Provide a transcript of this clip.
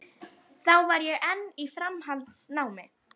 Þá var ég enn í framhaldsnámi.